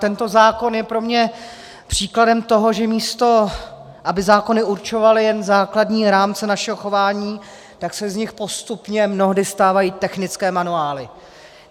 Tento zákon je pro mě příkladem toho, že místo aby zákony určovaly jen základní rámce našeho chování, tak se z nich postupně mnohdy stávají technické manuály.